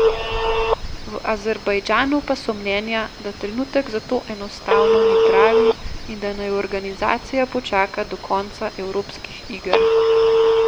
V Azerbajdžanu pa so mnenja, da trenutek za to enostavno ni pravi in da naj organizacija počaka do konca evropskih iger.